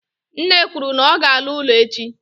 nne kwuru na ọ ga-ala ụlọ echi.